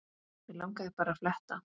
Mig langaði bara að fletta